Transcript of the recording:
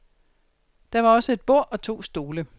Der var også et bord og to stole.